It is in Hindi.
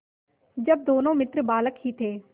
जब दोनों मित्र बालक ही थे